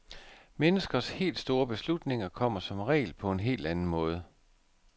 Menneskers helt store beslutninger kommer som regel på en helt anden måde.